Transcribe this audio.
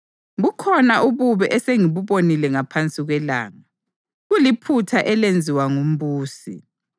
Bukhona ububi esengibubonile ngaphansi kwelanga, kuliphutha elenziwa ngumbusi: